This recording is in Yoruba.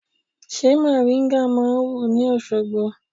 Ṣé mòríńgà máa wù ní Òṣogbo?